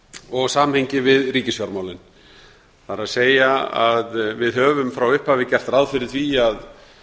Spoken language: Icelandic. og samhengi við ríkisfjármálin það er að við höfum frá upphafi gert ráð fyrir því að